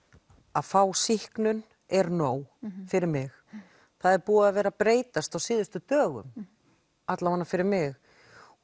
að fá sýknun er nóg fyrir mig það er búið að vera að breytast á síðustu dögum fyrir mig